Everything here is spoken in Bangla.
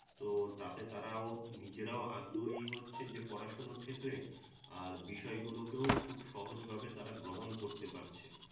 তো তাতে তারাও নিজেরাও আগ্রহী হচ্ছে যে পড়াশুনোর ক্ষেত্রে আর বিষয়গুলোকেও খুব সহজ ভাবে তারা গ্রহণ করতে পারছে